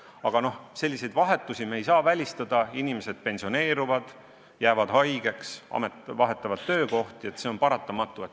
Paraku selliseid vahetusi ei saa välistada – inimesed pensioneeruvad, jäävad haigeks, vahetavad töökohti – see on paratamatu.